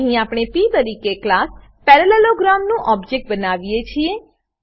અહીં આપણે પ તરીકે ક્લાસ પેરાલેલોગ્રામ નું ઓબજેક્ટ બનાવીએ છીએ